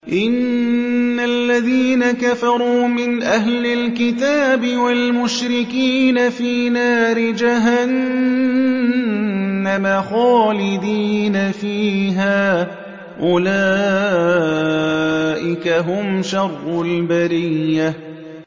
إِنَّ الَّذِينَ كَفَرُوا مِنْ أَهْلِ الْكِتَابِ وَالْمُشْرِكِينَ فِي نَارِ جَهَنَّمَ خَالِدِينَ فِيهَا ۚ أُولَٰئِكَ هُمْ شَرُّ الْبَرِيَّةِ